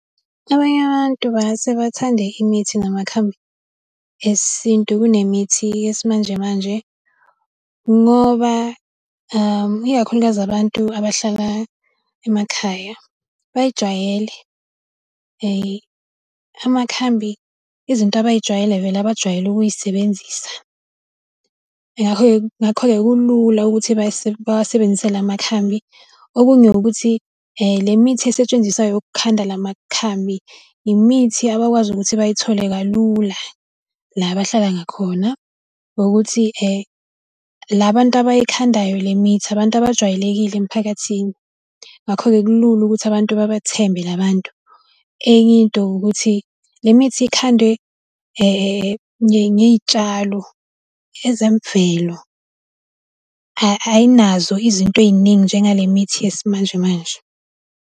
Abanye abantu bangase bathande imithi namakhambi esintu kunemithi yesimanjemanje. Ngoba ikakhulukazi abantu abahlala emakhaya, bayijwayele. Amakhambi izinto abay'jwayele vele abajwayele ukuy'sebenzisa. Ngakho-ke kulula ukuthi bawasebenzise la makhambi. Okunye ukuthi le mithi esetshenziswayo yokukhanda la makhambi imithi abakwazi ukuthi bayithole kalula la abahlala ngakhona, nokuthi la bantu abayikhandayo le mithi, abantu abajwayelekile emiphakathini. Ngakho ke kulula ukuthi abantu babathembe la bantu. Enye into ukuthi, le mithi ikhandwe ngey'tshalo ezemvelo, ayinazo izinto ey'ningi njengale mithi yesimanjemanje.